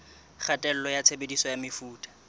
kgatello ya tshebediso ya mefuta